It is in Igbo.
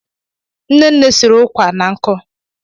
Nne nne siri ụkwà na nkụ.